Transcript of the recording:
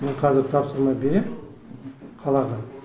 мен қазір тапсырма беремін қалаға